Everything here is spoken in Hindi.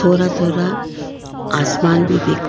थोड़ा थोड़ा आसमान भी दिख--